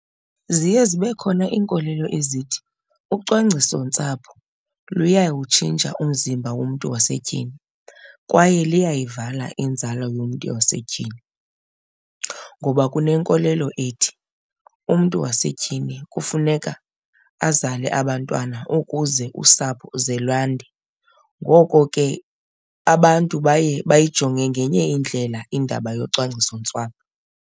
Ziye zibe khona iinkolelo ezithi ucwangcisontsapho luyawutshintsha umzimba womntu wasetyhini kwaye liyayivala inzala yomntu wasetyhini, ngoba kunenkolelo ethi umntu wasetyhini kufuneka azale abantwana ukuze usapho ze lwande. Ngoko ke abantu baye bayijonge ngenye indlela indaba yocwangcisontsapho.